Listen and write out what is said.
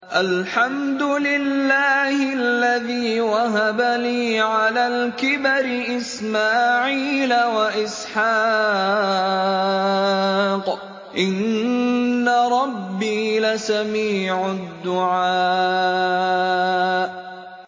الْحَمْدُ لِلَّهِ الَّذِي وَهَبَ لِي عَلَى الْكِبَرِ إِسْمَاعِيلَ وَإِسْحَاقَ ۚ إِنَّ رَبِّي لَسَمِيعُ الدُّعَاءِ